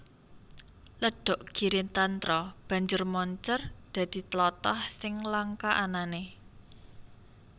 Ledhok Giritantra banjur moncèr dadi tlatah sing langka anané